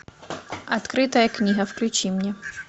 открытая книга включи мне